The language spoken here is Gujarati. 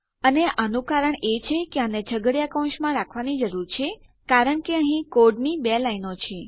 અને આનું કારણ છે કે આને છગડીયા કૌંસમાં રાખવાની જરૂર છે કારણ કે અહીં કોડની બે લાઈનો છે